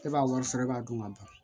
E b'a wari sara e b'a dun ka ban